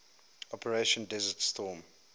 operation desert storm